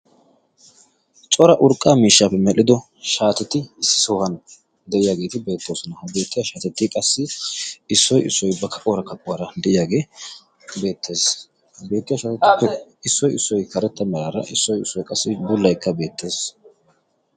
Cora urqqaa miishshaappe medhdhido shaateti issi sohuwan de'iyaageeti beettoosona. ha beettiya shaatetti qassi issoy issoy bakka qoora kaquwaara de'iyaagee beettees beettiyaa shaatettippe issoi issoi karetta maraara issoi issoi qassi bullaikka beettees.